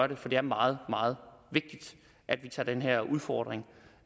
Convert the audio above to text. det for det er meget meget vigtigt at vi tager den her udfordring